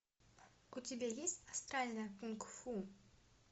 у тебя есть астральное кунг фу